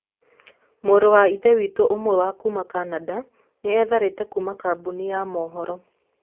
Mũrũ wa Ithe witũ ũmwe kuuma Canada nĩ eetharĩte kuuma kambuni-inĩ ya mohoro.